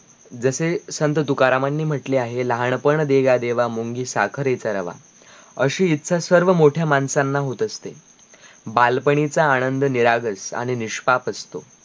जसे संत तूकारामांनी म्हटले आहे लहानपण देगा देवा मुंगी साखरेचा रवा अशी इच्छा सर्व मोठ्या माणसांना होत असते बालपणीचा आनंद निरागस आणी निष्पाप असतो